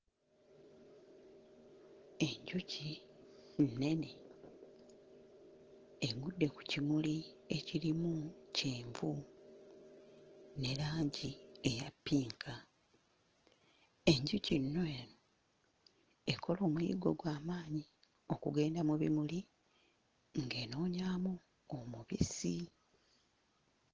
Enjuki nnene egudde ku kimuli ekirimu kyenvu ne langi eya ppinka. Enjuki nno eno ekola omuyiggo gwa maanyi okugenda mu bimuli ng'enoonyaamu omubisi.